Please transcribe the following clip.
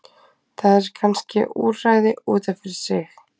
Það er kannske úrræði út af fyrir sig.